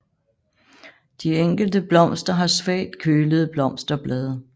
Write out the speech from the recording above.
De enkelte blomster har svagt kølede blosterblade